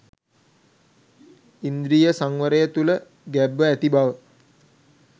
ඉන්ද්‍රිය සංවරය තුළ ගැබ්ව ඇති බව